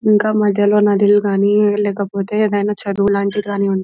ఇంకా మధ్యలో నదులు కానీ లేకపోతే ఏవైనా చెరువు లాంటివి కానీ ఉం--